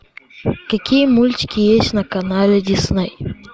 какие мультики есть на канале дисней